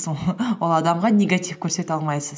ол адамға негатив көрсете алмайсыз